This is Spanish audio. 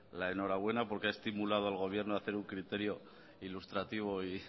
la enhorabuena porque ha estimulado al gobierno a hacer un criterio ilustrativo y